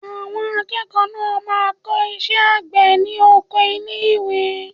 Àwọn akẹ́kọ̀ọ́ náà máa kọ́ iṣẹ́ àgbẹ̀ ní oko ilé ìwé.